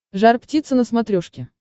жар птица на смотрешке